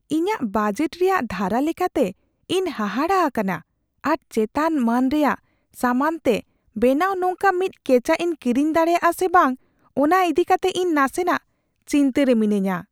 ᱤᱧᱟᱹᱜ ᱵᱟᱡᱮᱴ ᱨᱮᱭᱟᱜ ᱫᱷᱟᱨᱟ ᱞᱮᱠᱟᱛᱮ, ᱤᱧ ᱦᱟᱦᱟᱲᱟᱜ ᱟᱠᱟᱱᱟ ᱟᱨ ᱪᱮᱛᱟᱱᱼᱢᱟᱹᱱ ᱨᱮᱭᱟᱜ ᱥᱟᱢᱟᱱᱚᱢᱛᱮ ᱵᱮᱱᱟᱣ ᱱᱚᱝᱠᱟ ᱢᱤᱫ ᱠᱮᱪᱟᱜ ᱤᱧ ᱠᱤᱨᱤᱧ ᱫᱟᱲᱮᱭᱟᱜᱼᱟ ᱥᱮ ᱵᱟᱝ ᱚᱱᱟ ᱤᱫᱤ ᱠᱟᱛᱮ ᱤᱧ ᱱᱟᱥᱮᱱᱟᱜ ᱪᱤᱱᱛᱟᱹ ᱨᱮ ᱢᱤᱱᱟᱹᱧᱟ ᱾